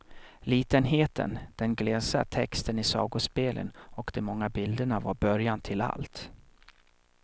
Litenheten, den glesa texten i sagospelen och de många bilderna var början till allt.